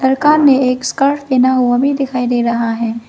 लड़का ने एक स्कार्फ पहना हुआ है वह भी दिखाई दे रहा है।